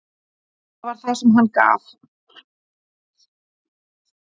Þar var það hann sem gaf.